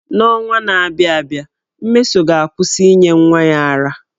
N’ọnwa na-abịa abịa, Mmesoma ga-akwụsị inye nwa ya ara.